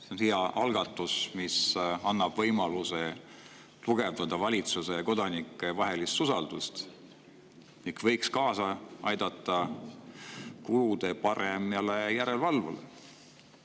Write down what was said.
See on hea algatus, mis annab võimaluse tugevdada valitsuse ja kodanike vahelist usaldust ning võiks kaasa aidata kulude paremale järelevalvele.